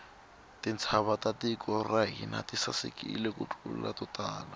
tintshava ta tiko ra hina ti sasekile ku tlula to tala